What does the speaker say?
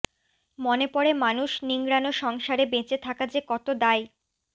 মনে পড়ে মানুষ নিংড়ানো সংসারে বেঁচে থাকা যে কত দায়